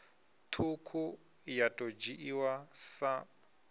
ṱhukhu ya ḓo dzhiiwa sa